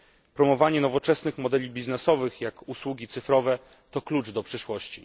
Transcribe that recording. Promowanie nowoczesnych modeli biznesowych, jak usługi cyfrowe, to klucz do przyszłości.